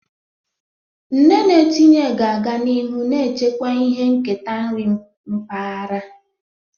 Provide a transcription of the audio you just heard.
Nne na-etinye ga-aga n'ihu na-echekwa ihe nketa nri mpaghara.